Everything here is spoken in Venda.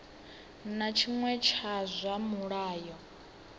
na tshiṅwe tsha zwa mulayo